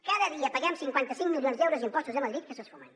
cada dia paguem cinquanta cinc milions d’euros d’impostos a madrid que s’esfumen